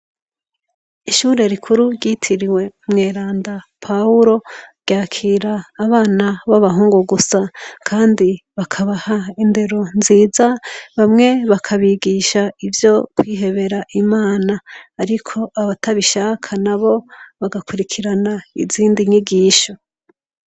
Ishuri rikuru ryitiriwe umweranda poul ryakira abana baba hungu gusa kandi bakabaha indero nziza bamwe bakabigisha ivyo kwihebera imana ariko abatabishaka nabo bagakwirikirana izindi nyigisho.